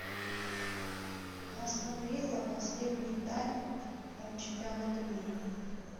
астон вилла последний тайм чемпионата мира